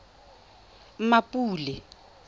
mmapule